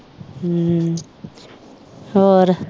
ਹਮ ਹੋਰ